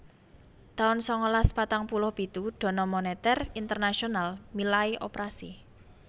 taun sangalas patang puluh pitu Dana Moneter Internasional milai operasi